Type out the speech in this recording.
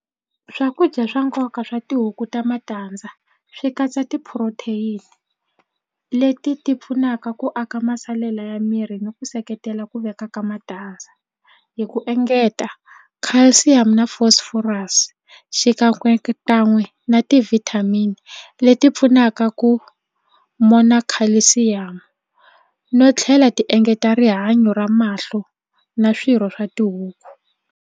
Swakudya swa nkoka swa tihuku ta matandza swi katsa ti-protein leti ti pfunaka ku aka masalela ya miri ni ku seketela ku veka ka matandza hi ku engeta calcium na phosphorus xikan'wekan'we na ti-vitamin leti pfunaka ku mona calcium no tlhela ti engeta rihanyo ra mahlo na swirho swa tihuku.